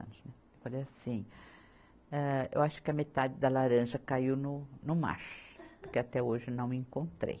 né. Eu falei assim, âh eu acho que a metade da laranja caiu no, no mar, porque até hoje não encontrei.